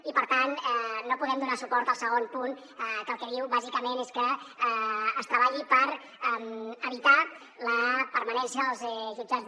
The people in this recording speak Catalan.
i per tant no podem donar suport al segon punt que el que diu bàsicament és que es treballi per evitar la permanència dels jutjats